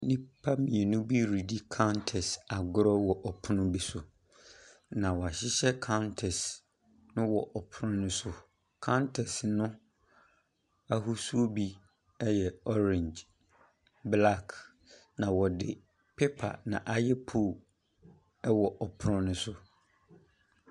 Nnipa mmienu bi redi kantɛs agorɔ wɔ pono bi so, na wɔahyehyɛ kantɛs no wɔ pono no so. Kantɛs no ahosuo bi yɛ orange, black, na wɔde paper na ayɛ pole wɔ pono no so.